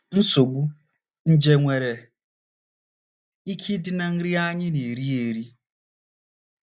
NSOGBU: Nje nwere ike ịdị ná nri anyị na - eri - eri.